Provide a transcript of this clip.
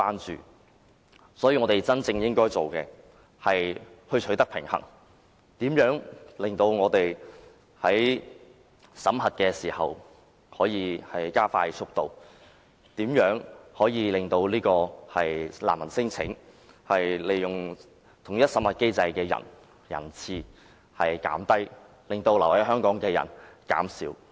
所以，我們真正應該做的是求取平衡，探討怎樣加快審核的速度，令提出難民聲請和統一審核機制的使用人次降低，減少因此而滯留香港的人士。